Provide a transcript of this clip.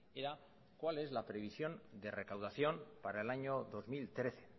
era cuál es la previsión de recaudación para el año dos mil trece